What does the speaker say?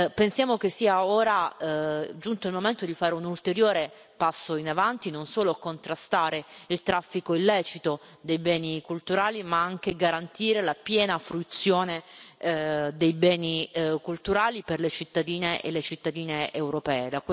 Pensiamo che sia ora giunto il momento di fare un ulteriore passo in avanti occorre non solo contrastare il traffico illecito dei beni culturali, ma anche garantire la piena fruizione dei beni culturali per le cittadine e i cittadini europei.